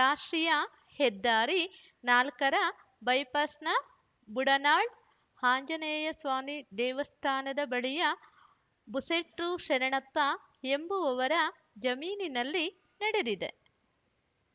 ರಾಷ್ಟ್ರೀಯ ಹೆದ್ದಾರಿ ನಾಲ್ಕರ ಬೈಪಾಸ್‌ನ ಬುರ್ಡನಾಳ್‌ ಆಂಜನೇಯ ಸ್ವಾಮಿ ದೇವಸ್ಥಾನದ ಬಳಿಯ ಬಸೆಟ್ರು ಶರಣಪ್ಪ ಎಂಬುವವರ ಜಮೀನಿನಲ್ಲಿ ನಡೆದಿದೆ